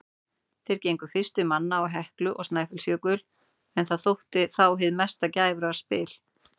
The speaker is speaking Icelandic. Þeir gengu fyrstir manna á Heklu og Snæfellsjökul, en það þótti þá hið mesta glæfraspil.